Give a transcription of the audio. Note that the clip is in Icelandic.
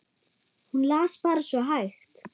Hún las bara svo hægt.